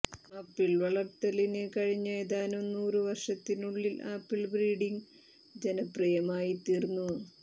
apple വളർത്തലിന് കഴിഞ്ഞ ഏതാനും നൂറ് വർഷത്തിനുള്ളിൽ ആപ്പിൾ ബ്രീഡിംഗ് ജനപ്രിയമായിത്തീർന്നു